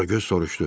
Qaragöz soruşdu.